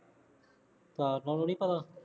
ਅੱਛਾ ਉਹਨਾ ਨੂੰ ਨਹੀਂ ਪਤਾ